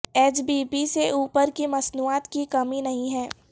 H B B سے اوپر کی مصنوعات کی کمی نہیں ہے